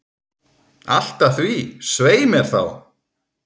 Allt að því, svei mér þá!